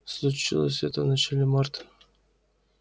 случилось это в начале марта